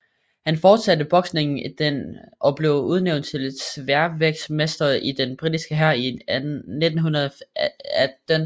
Han fortsatte boksningen og blev udnævnt til sværvægtsmester i den britiske hær i 1918